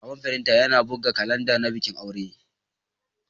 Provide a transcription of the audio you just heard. Babban firinta yana buga kalanda na bikin aure.